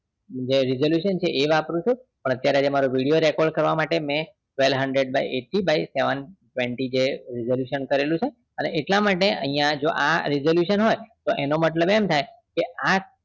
જે resolution છે એ વાપરું છું અત્યરે જે મારો video record કરવા માટે મેં twelve hundred eighty by seven twenty resolution કરેલું છે અને એટલા માટેજો આ resolution હોય એનો મતલબ એમ થાય